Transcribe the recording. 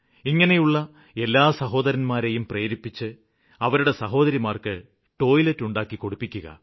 ഇങ്ങനെയുള്ള എല്ലാ സഹോദരന്മാരെയും പ്രേരിപ്പിച്ച് അവരുടെ സഹോദരിമാര്ക്ക് ടോയ്ലറ്റ് ഉണ്ടാക്കിക്കൊടുപ്പിക്കുക